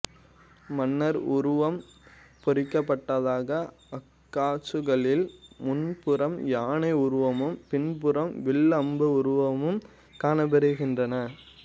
மன்னர் உருவம் பொறிக்கப்படாத அக்காசுகளில் முன்புறம் யானை உருவமும் பின்புறம் வில் அம்பு உருவமும் காணப்பெறுகிறது